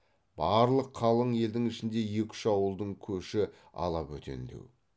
барлық қалың елдің ішінде екі үш ауылдың көші ала бөтендеу